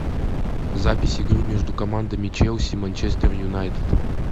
запись игры между командами челси манчестер юнайтед